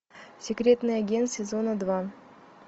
секретный агент сезона два